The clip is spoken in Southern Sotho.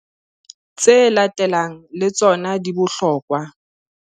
Tse latelang le tsona di bohlokwa.